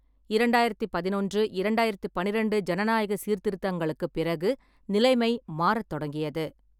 இரண்டாயிரத்தி பதினொன்று -இரண்டாயிரத்தி பனிரெண்டு ஜனநாயகச் சீர்திருத்தங்களுக்குப் பிறகு நிலைமை மாறத் தொடங்கியது.